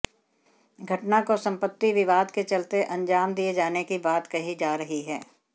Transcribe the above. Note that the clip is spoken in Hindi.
घटना को संपति विवाद के चलते अंजाम दिए जाने की बात कही जा रही है